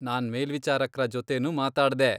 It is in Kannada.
ನಾನ್ ಮೇಲ್ವಿಚಾರಕ್ರ ಜೊತೆನೂ ಮಾತಾಡ್ದೆ.